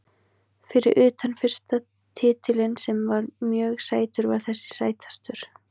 Fyrir utan fyrsta titilinn sem var mjög sætur var þessi sætastur.